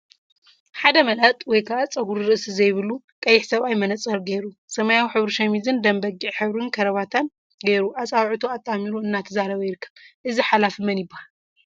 ሓደ መላጥ/ፀጉሪ ርእሲ ዘይብሉ/ ቀይሕ ሰብአይ መነፀር ገይሩ፤ ሰማያዊ ሕብሪ ሸሚዝን ደም በጊዕ ሕብሪ ከረባታን ገይሩ አፃብዕቱ አጣሚሩ እናተዛረበ ይርከብ፡፡ እዚ ሓላፊ መን ይበሃል?